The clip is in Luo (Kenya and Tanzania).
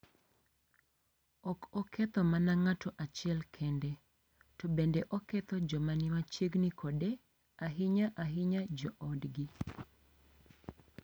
Ok oketho mana ng’ato achiel kende, to bende oketho joma ni machiegni kode, ahinya-ahinya joodgi.